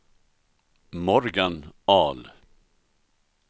Morgan Ahl